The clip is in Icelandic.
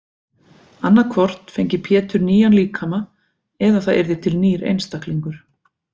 Annað hvort fengi Pétur nýjan líkama eða það yrði til nýr einstaklingur.